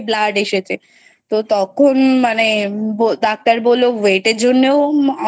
Blood এসেছে তো তখন মানে ডাক্তার বললো Weight এর জন্য